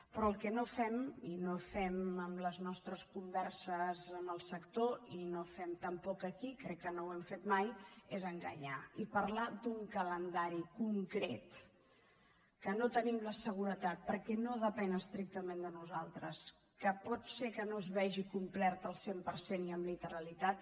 però el que no fem i no fem en les nostres converses amb el sector i no fem tampoc aquí crec que no ho hem fet mai és enganyar i parlar d’un calendari concret que no en tenim la seguretat perquè no depèn estrictament de nosaltres que pot ser que no es vegi complert al cent per cent i amb literalitat